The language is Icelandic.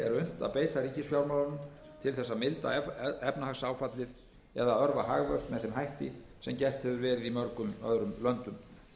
að beita ríkisfjármálunum til þess að milda efnahagsáfallið eða örva hagvöxt með þeim hætti sem gert hefur verið í mörgum öðrum löndum